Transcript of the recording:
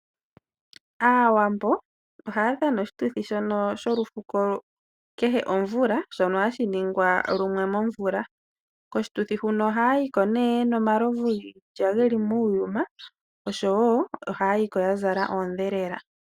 Aawambo ohaya dhana oshituthi sholufuko kehe komvula, shono hashi ningwa lumwe momvula. Koshituthi huno ohaya yiko yena omalovu giilya geli muuyuma oshowoo yazala oondhelela.